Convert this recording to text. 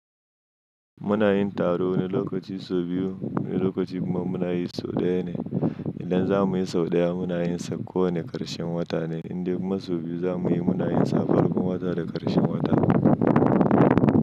Munayin taro wanu lokaci sau biyu, wani lokaci kuma munayi sau ɗaya ne. Idan za muyi sau ɗaya munayin sa ko wane ƙarshen wata ne, in dai ma sau biyu za muyi munayin sa farkon wata da ƙarshen wata.